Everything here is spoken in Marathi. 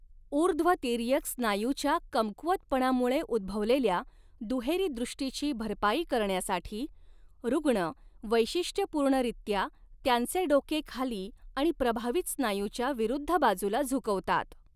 ऊर्ध्व तिर्यक स्नायूच्या कमकुवतपणामुळे उद्भवलेल्या दुहेरी दृष्टीची भरपाई करण्यासाठी, रुग्ण वैशिष्ट्यपूर्णरीत्या त्यांचे डोके खाली आणि प्रभावित स्नायूच्या विरुद्ध बाजूला झुकवतात.